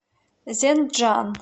зенджан